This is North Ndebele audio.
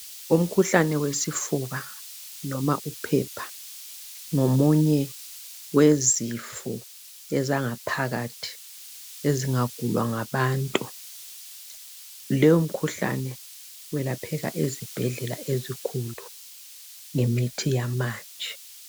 umkhuhlane wesifuba noma uphepha ngomunye wezifo ezangaphakathi ezingagulwa ngabantu leyo mkhuhlane welapheka ezibhedlela ezikhulu ngemithi yamanje